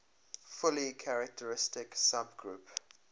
fully characteristic subgroup